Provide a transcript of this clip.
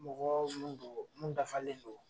Mɔgɔ mun dɔ mun dafalen don.